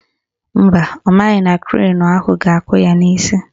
Mba, ọ maghị na krenu ahụ ga-akụ ya n'isi